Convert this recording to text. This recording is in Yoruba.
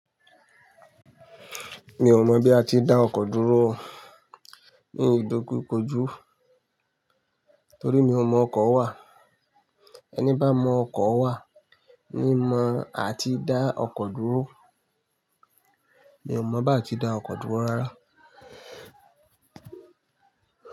Mi ò mọ̀ bí a ti ń dá ọkọ̀ dúró ní ìdókòjú tó rí. Mi ò mọ ọkọ wà. Ẹni bá mọ ọkọ wà ní mọ a ti ń dá ọkọ dúró. Mi ò mọ̀ bá ti dá ọkọ dúró rárá.